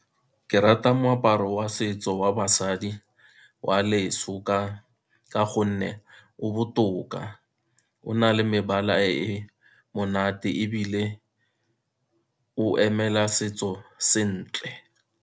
Ke rata moaparo wa setso wa basadi wa leso ka gonne o botoka, o na le mebala e monate ebile o emela setso sentle.